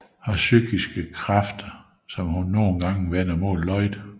Har psykiske krafter som hun nogle gange vender mod Lloyd